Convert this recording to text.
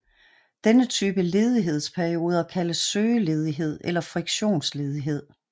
Denne type ledighedsperioder kaldes søgeledighed eller friktionsledighed